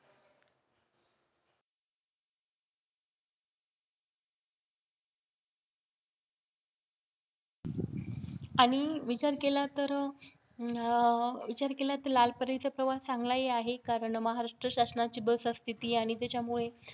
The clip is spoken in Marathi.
आणि विचार केला तर विचार केला त अह लाल परीचा प्रवास चांगलाहि आहे कारण महाराष्ट्र शासनाची बसअसते ती आणि त्याच्यामुळे